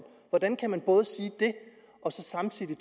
og så samtidig